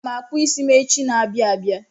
Aga m akpụ isi m echi n'abia abịa.